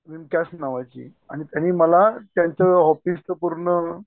विमक्यास नावाची आणि त्यानि मला तेंच्या ऑफिसचं पूर्ण